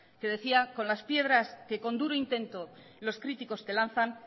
que decía con las piedras que con duro intento los críticos te lanzan